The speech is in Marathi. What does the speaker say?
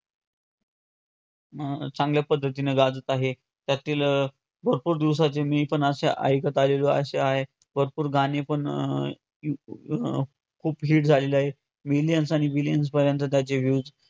अं चांगल्या पद्धतीने गाजत आहे, त्यातील अं भरपूर दिवसाचे मी पण असे ऐकत आलेलो असे आहे भरपूर गाणे पण अं अं खूप hit झालेले आहेत millions आणि billions पर्यंत त्याचे views